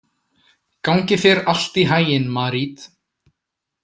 Gangi þér allt í haginn, Marít.